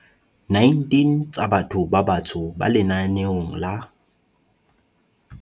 19 tsa batho ba batsho ba lenaneong la